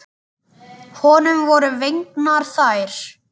Honum voru fengnar þær.